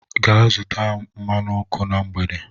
Gaa zụta m mmanụ ọkụ na mgbede.